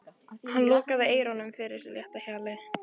Hann lokaði eyrunum fyrir þessu létta hjali.